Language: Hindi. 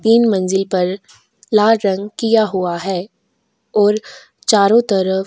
तीन मंजिल पर लाल रंग किया हुआ है और चारों तरफ।